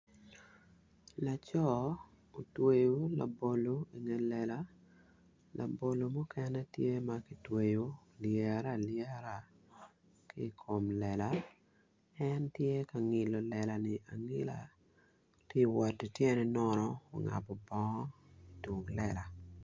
Laco otweyo labolo inge lela labolo mukene ki tweyo olyere alyera ki I kom lela en tye ka ngilo lela-ni angila ti woto ityene nono ungabu bongo itum lela